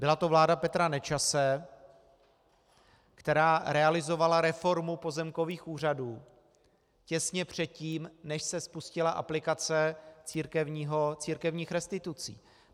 Byla to vláda Petra Nečase, která realizovala reformu pozemkových úřadů těsně předtím, než se spustila aplikace církevních restitucí.